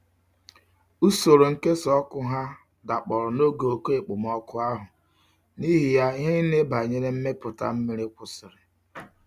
Usoro nkesa oku ha dakporo n'oge oke okpomoku ahu, n'ihi ya ihe nile banyere mmeputa mmiri kwusiri.